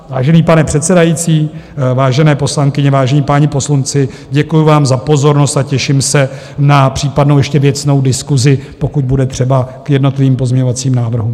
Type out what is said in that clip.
Vážený pane předsedající, vážené poslankyně, vážení páni poslanci, děkuji vám za pozornost a těším se na případnou ještě věcnou diskusi, pokud bude třeba k jednotlivým pozměňovacím návrhům.